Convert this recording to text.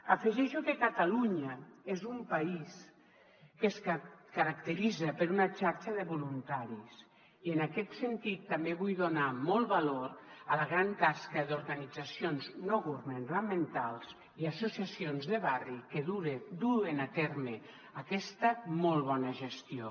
afegeixo que catalunya és un país que es caracteritza per una xarxa de voluntaris i en aquest sentit també vull donar molt valor a la gran tasca d’organitzacions no governamentals i associacions de barri que duen a terme aquesta molt bona gestió